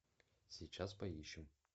сейчас поищем